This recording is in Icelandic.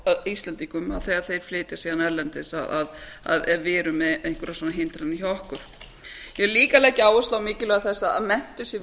eða íslendingum að þeir þeir flytja síðan erlendis að vera með einhverjar svona hindranir hjá okkur ég vil líka leggja áherslu á mikilvægi þess að menntun sé